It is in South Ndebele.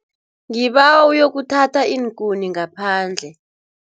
Ngibawa uyokuthatha iinkuni ngaphandle.